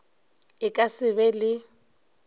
e ka se be le